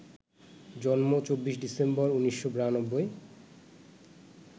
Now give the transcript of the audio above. জন্ম, ২৪ ডিসেম্বর ১৯৯২